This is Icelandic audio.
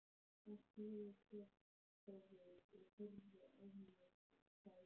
Hann sneri sér þá við, horfði á mig og sagði